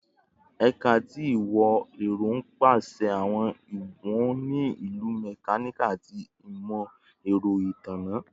Ẹka ti Imọ-ẹrọ n pese awọn iwọn ni Ilu, Mechanical, ati Imọ-ẹrọ Itanna